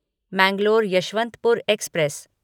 Mangalore Yeshwantpur express